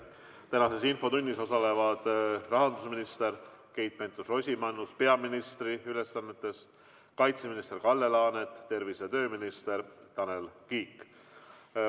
Tänases infotunnis osalevad rahandusminister Keit Pentus-Rosimannus peaministri ülesannetes, kaitseminister Kalle Laanet ning tervise‑ ja tööminister Tanel Kiik.